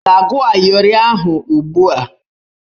Ị ga-agụ ayịọrị ahụ ugbu a!